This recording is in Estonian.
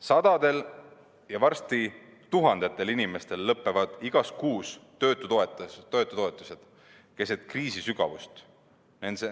Sadadel ja varsti tuhandetel inimestel lõpevad igas kuus töötutoetused, keset sügavat kriisi.